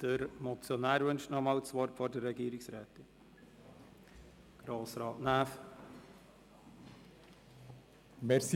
Der Motionär, Grossrat Näf, wünscht vor der Regierungsrätin noch einmal das Wort.